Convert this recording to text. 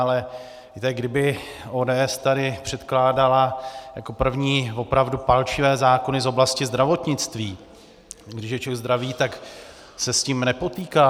Ale víte, kdyby ODS tady předkládala jako první opravdu palčivé zákony z oblasti zdravotnictví, když je člověk zdravý, tak se s tím nepotýká.